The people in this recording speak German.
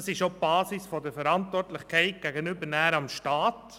Dies ist auch die Basis der Verantwortlichkeit gegenüber dem Staat.